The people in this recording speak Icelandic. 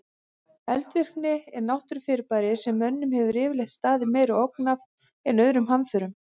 Eldvirkni er náttúrufyrirbæri sem mönnum hefur yfirleitt staðið meiri ógn af en öðrum hamförum.